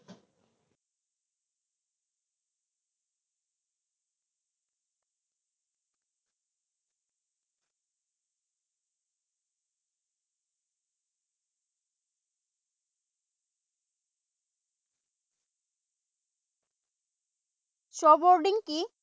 Snow boarding